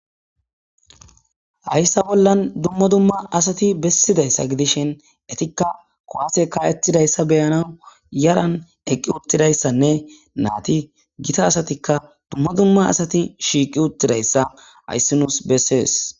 Hayssa bollan dumma dumma asati bessidayssa gidishen etikka kowase ka ettidayssa beyana yaran eqqi uttidayssanne naati gita asatikka dumma dumma asati shiiqi uttidayssa hayssi nuus bessees.